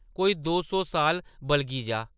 कोई दो सौ साल बलगी जा ।